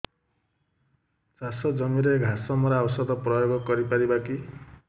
ଚାଷ ଜମିରେ ଘାସ ମରା ଔଷଧ ପ୍ରୟୋଗ କରି ପାରିବା କି